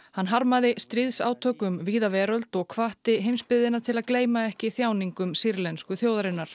hann harmaði stríðsátök um víða veröld og hvatti heimsbyggðina til að gleyma ekki þjáningum sýrlensku þjóðarinnar